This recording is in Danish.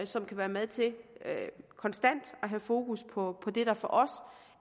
som kan være med til konstant at have fokus på det der for os